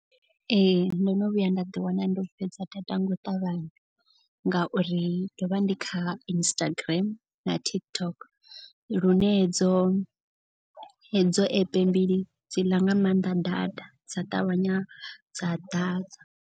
Ee ndo no vhuya nda ḓi wana ndi u fhedza data nga u ṱavhanya. Ngauri ndo vha ndi kha Instagram na TikTok. Lune hedzo hedzo epe mbili dzi ḽa nga maanḓa data dza ṱavhanya dza ḓadza.